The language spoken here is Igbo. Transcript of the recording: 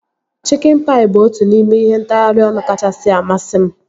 Chikin paị bụ otu n'ime ihe ntagharị ọnụ kachasị amasị m